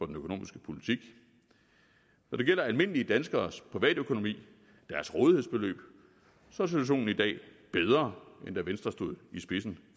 den økonomiske politik når det gælder almindelige danskeres privatøkonomi deres rådighedsbeløb er situationen i dag bedre end da venstre stod i spidsen